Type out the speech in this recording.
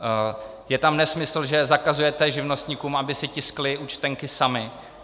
Je tam nesmysl, že zakazujete živnostníkům, aby si tiskli účtenky sami.